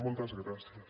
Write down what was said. moltes gràcies